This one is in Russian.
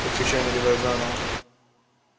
только чай наливай заново